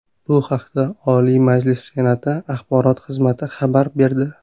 Bu haqda Oliy Majlis Senati axborot xizmati xabar berdi .